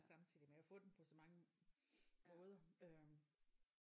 Samtidig med at få den på så mange måder øh